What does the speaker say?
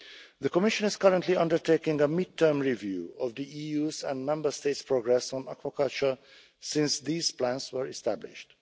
The Commission is currently undertaking a mid term review of the EU's and Member States' progress on aquaculture since these plans were established.